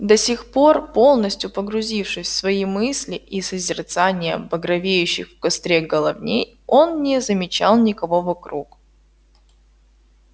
до сих пор полностью погрузившись в свои мысли и созерцание багровеющих в костре головней он не замечал никого вокруг